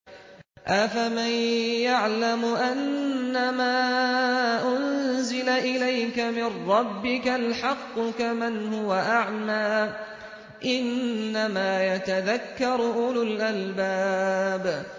۞ أَفَمَن يَعْلَمُ أَنَّمَا أُنزِلَ إِلَيْكَ مِن رَّبِّكَ الْحَقُّ كَمَنْ هُوَ أَعْمَىٰ ۚ إِنَّمَا يَتَذَكَّرُ أُولُو الْأَلْبَابِ